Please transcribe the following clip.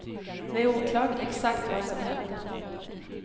Det är oklart exakt vad som hände.